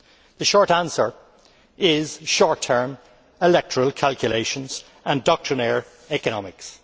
The short answer is short term electoral calculations and doctrinaire economics.